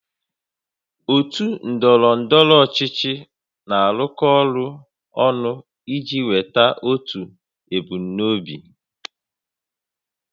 Ndị otu ndọrọ ndọrọ ọchịchị na-arụkọ ọrụ ọnụ iji nweta otu ebumnuche